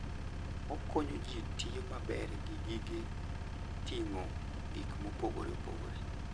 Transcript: Okonyo ji tiyo maber gi gige ting'o gik mopogore opogore.